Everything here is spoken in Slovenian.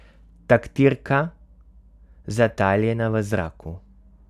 Taktirka, zataljena v zraku.